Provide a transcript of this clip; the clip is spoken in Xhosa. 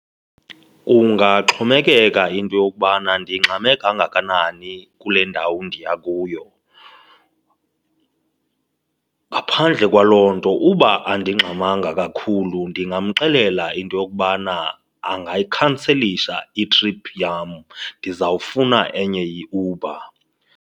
Kungaxhomekeka into yokubana ndingxame kangakanani kule ndawo ndiya kuyo. Ngaphandle kwaloo nto uba andingxamanga kakhulu ndingamxelela into yokubana angayikhanselisha i-trip yam, ndizawufuna enye iUber.